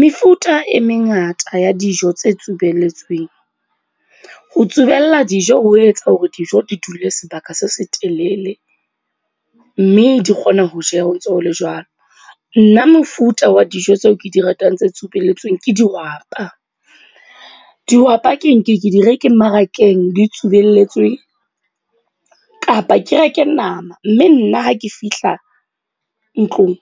Mefuta e mengata ya dijo tse tsubelletsweng. Ho tsubella dijo ho etsa hore dijo di dule sebaka se se telele. Mme di kgona ho jeha ho ntso ho le jwalo. Nna mofuta wa dijo tseo ke di ratang tse tsubelletsweng ke dihwapa. Dihwapa ke ke di reke mmarakeng di tsubelletswe kapa ke reke nama mme nna ha ke fihla ntlong,